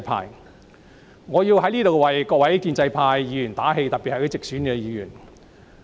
因此，我想在此為各位建制派議員打氣，特別是一些直選議員。